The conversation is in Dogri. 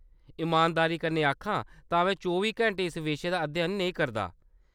इमानदारी कन्नै आखां तां में चौबी घैंटे इस विशे दा अध्ययन नेईं करदा।